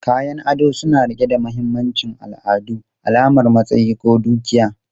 Kayan ado suna riƙe da mahimmancin al'adu, alamar matsayi ko dukiya.